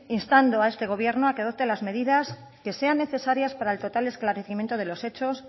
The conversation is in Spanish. instando a este gobierno a que adopte las medidas que sean necesarias para el total esclarecimiento de los hechos